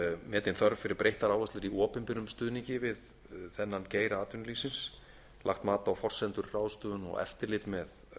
metin þörf fyrir breyttar áherslur í opinberum stuðningi við þennan geira atvinnulífsins lagt mat á forsendur ráðstöfun og eftirlit með